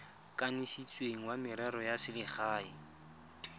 kanisitsweng wa merero ya selegae